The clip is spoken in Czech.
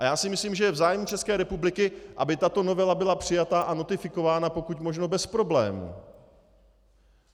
A já si myslím, že je v zájmu České republiky, aby tato novela byla přijata a notifikována pokud možno bez problému.